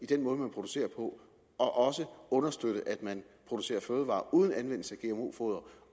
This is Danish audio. den måde man producerer på og også understøtte at man producerer fødevarer uden anvendelse af gmo foder